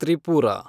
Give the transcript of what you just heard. Tripura